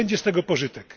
Będzie z tego pożytek.